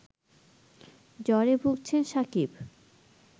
জ্বরে ভুগছেন সাকিব